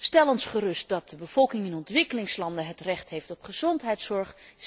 Stel ons gerust dat de bevolking in de ontwikkelingslanden recht heeft op gezondheidszorg.